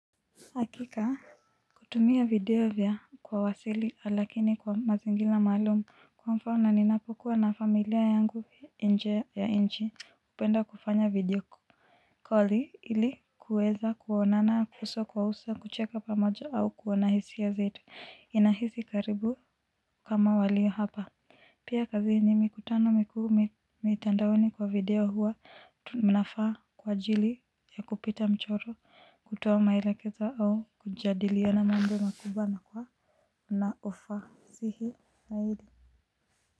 Hakika kutumia video vya kwa wasili lakini kwa mazingira maalumu kwa mfano ninapokuwa na familia yangu nje ya nchi hupenda kufanya video calli ili kuweza kuonana kuso kwa uso kucheka pamoja au kuona hisia zetu. Inahisi karibu kama walio hapa. Pia kazini, mikutano mikuu, mitandaoni kwa video huwa mnafaa kwa ajili ya kupita mchoro, kutoa maelekezo au kujadiliana mambo makubwa na kwa na ufasihi zaidi.